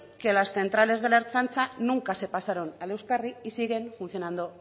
que las centrales de la ertzaintza nunca se pasaron al euskarri y siguen funcionando